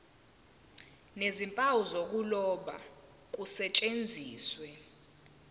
nezimpawu zokuloba kusetshenziswe